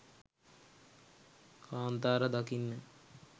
කාන්තාර දකින්න